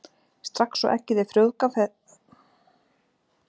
Strax og eggið er frjóvgað fer það að vaxa, frumurnar byrja að skiptast.